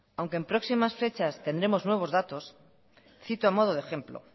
aunque en próximas fechas tendremos nuevos datos cito a modo de ejemplo